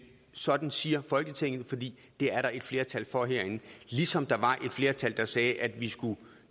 sådan siger folketinget fordi det er der et flertal for herinde ligesom der var et flertal der sagde at vi skulle